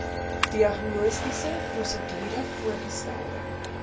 diagnostiese prosedure voorgestelde